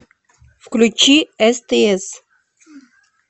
включи стс